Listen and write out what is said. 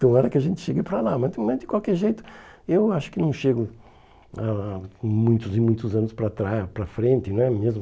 Tomara que a gente chegue para lá, mas também de qualquer jeito eu acho que não chego há muitos e muitos anos para trás para frente, não é mesmo?